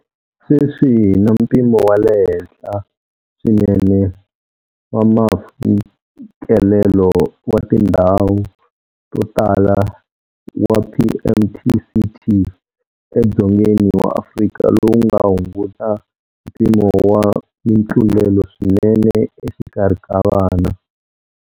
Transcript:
Sweswi hi na mpimo wa le henhla swinene wa mfikelelo wa tindhwau to tala wa PMTCT eDzongeni wa Afrika lowu nga hunguta mpimo wa mitlulelo swinene exikarhi ka vana.